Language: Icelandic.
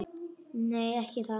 Nei, ekki það.